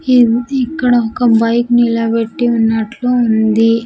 ఇద్ది ఇక్కడ ఒక బైక్ నిలబెట్టి ఉన్నట్లు ఉంది.